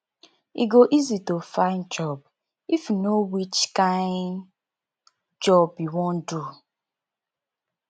e go easy to find find job if yu know which kain job yu wan do